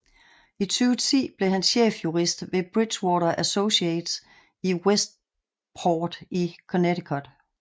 I 2010 blev han chefsjurist ved Bridgewater Associates i Westport i Connecticut